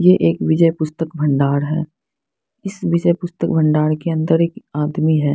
ये एक विजय पुस्तक भण्डार है इस विजय पुस्तक भण्डार के अंदर एक आदमी है।